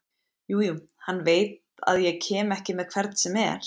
Jú jú, hann veit að ég kem ekki með hvern sem er.